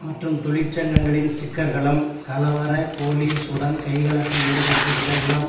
மற்றும் தொழிற்சங்கங்களின் ஸ்டிக்கர்களும் கலவர போலிஸ் உடன் கைகலப்பில் ஈடுபட்டிருந்த இளம்